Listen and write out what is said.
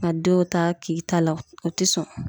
Ka denw ta k'i ta la ,o te sɔn.